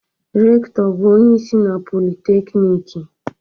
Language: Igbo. Rekụtọ bụ onye isi na Politekiniiki.